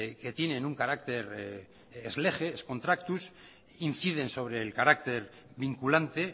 que tienen un carácter ex lege ex contractus inciden sobre el carácter vinculante